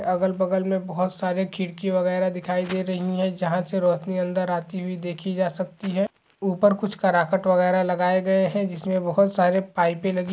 अगल बगल मे बोहोत सारे खिड़की वगेरा दिखाई दे रही है जहाँ से रोशनी अंदर आती हुई देखी जा सकती है ऊपर कुछ कराकट वगेरा लगाए गए है जिसमें बोहोत सारी पाइपें लगी है।